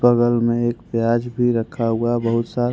बगल में एक प्याज भी रखा हुआ बहुत सारा।